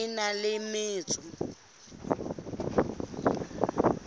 hangata a na le metso